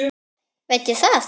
Veit ég það?